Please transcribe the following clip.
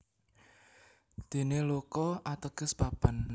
Dene Loka ateges papan